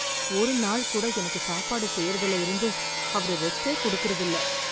ஒரு நாள் கூட எனக்கு சாப்பாடு செய்றதுல இருந்து அவரு ரெஸ்ட்டே குடுக்கிறது இல்ல.